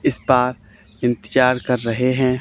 इस पार इंतजार कर रहे है।